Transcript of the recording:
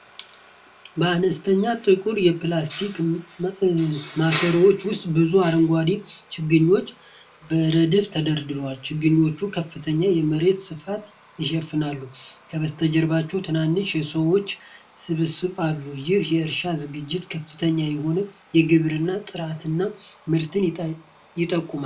በአነስተኛ ጥቁር የፕላስቲክ ማሰሮዎች ውስጥ ብዙ አረንጓዴ ችግኞች በረድፍ ተደርድረዋል። ችግኞቹ ከፍተኛ የመሬት ስፋት ይሸፍናሉ። ከበስተጀርባ ትናንሽ የሰዎች ስብስቦች አሉ። ይህ የእርሻ ዝግጅት ከፍተኛ የሆነ የግብርና ጥረትና ምርት ይጠቁማል።